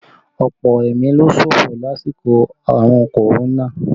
Ọ̀pọ̀ ẹ̀mí ló ṣòfò lásìkò àrùn Korona